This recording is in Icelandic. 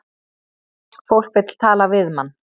Fólk vill tala við mann